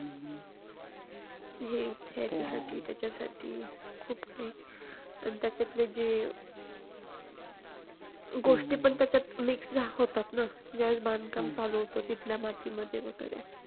हे ह्याच्यासाठी त्याच्यासाठी खूप काही गोष्टी पण त्याच्यात mix होतात ना ज्यावेळेस बांधकाम चालू होतं. तिथल्या मातीत वगैरे